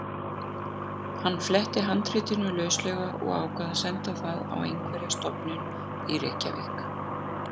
Hann fletti handritinu lauslega og ákvað að senda það á einhverja stofnun í Reykjavík.